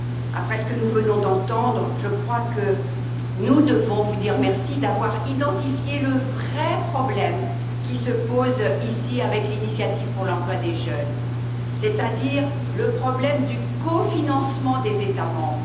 Après ce que nous venons d'entendre, je crois que nous devons vous remercier d'avoir identifié le vrai problème qui se pose ici, avec l'initiative pour l'emploi des jeunes, c'est à dire le problème du cofinancement des États membres.